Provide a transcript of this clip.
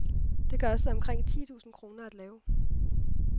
Den kostede omkring ti tusinde kroner at lave.